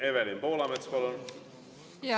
Evelin Poolamets, palun!